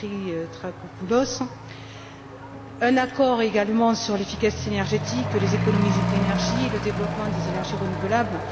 Dimitrakopoulos et un accord également sur l'efficacité énergétique, les économies d'énergie, le développement des énergies renouvelables.